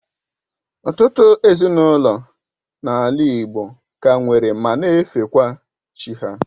Ụtụtụ ezinaụlọ n'ala igbo ka nwere ma na efekwa chi ha.